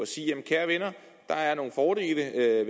sige kære venner der er nogle fordele ved